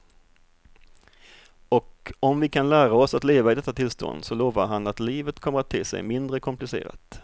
Och om vi kan lära oss att leva i detta tillstånd så lovar han att livet kommer att te sig mindre komplicerat.